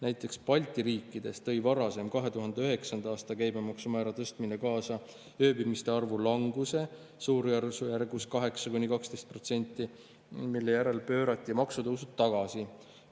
Näiteks Balti riikides tõi varasem, 2009. aasta käibemaksu määra tõstmine kaasa ööbimiste arvu languse suurusjärgus 8–12%, mille järel pöörati maksutõusud tagasi.